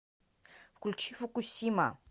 включи фукусима